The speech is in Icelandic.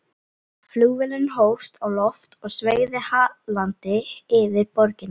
Flugvélin hófst á loft og sveigði hallandi yfir borgina.